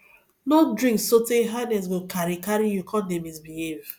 no drink sotey higness go carry carry you come dey misbehave